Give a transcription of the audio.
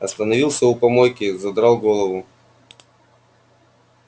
остановился у помойки задрал голову